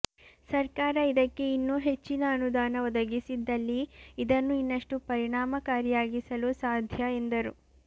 ಸರ್ಕಾರ ಇದಕ್ಕೆ ಇನ್ನೂ ಹೆಚ್ಚಿನ ಅನುದಾನ ಒದಗಿಸಿದ್ದಲ್ಲಿ ಇದನ್ನು ಇನ್ನಷ್ಟು ಪರಿಣಾಮಕಾರಿಯಾಗಿಸಲು ಸಾಧ್ಯ ಎಂದರು